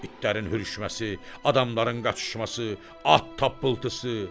İtlərin hürüşməsi, adamların qaçışması, at tappıltısı.